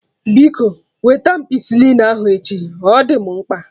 Biko wete ampicilin ahụ echi, ọ dị mụ mkpa